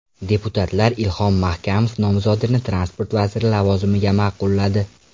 Deputatlar Ilhom Mahkamov nomzodini transport vaziri lavozimiga ma’qulladi.